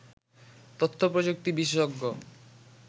তথ্যপ্রযুক্তি বিশেষজ্ঞ